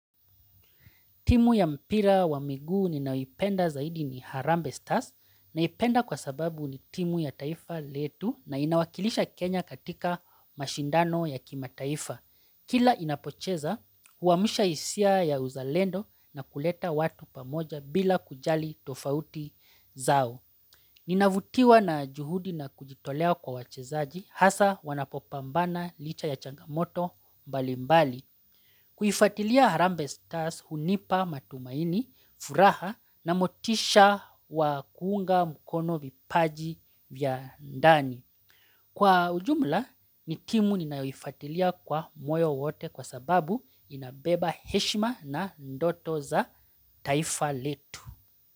Timu ya mpira wa miguu ninayoipenda zaidi ni Harambee Stars naipenda kwa sababu ni timu ya taifa letu na inawakilisha Kenya katika mashindano ya kimataifa. Kila inapocheza huwamsha hisia ya uzalendo na kuleta watu pamoja bila kujali tofauti zao. Ninavutiwa na juhudi na kujitolea kwa wachezaji hasa wanapopambana licha ya changamoto mbali mbali. Kuifuatilia harambe stars hunipa matumaini, furaha na motisha wa kuunga mkono vipaji vya ndani. Kwa ujumla, ni timu ninaifuatilia kwa moyo wote kwa sababu inabeba heshima na ndoto za taifa letu.